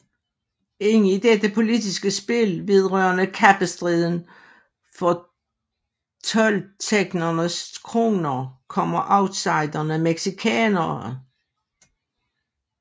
Ind i dette politiske spil vedrørende kappestriden om Toltekernes trone kom outsiderne Mexicaerne